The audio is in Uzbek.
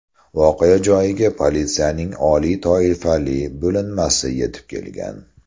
Voqea joyiga politsiyaning oliy toifali bo‘linmasi yetib kelgan.